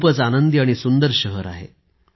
खूपच आनंदी आणि सुंदर शहर आहे